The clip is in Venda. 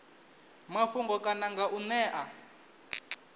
mafhungo kana nga u ṅea